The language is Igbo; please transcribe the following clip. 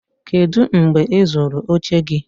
kedu mgbe ị zụrụ oche gị?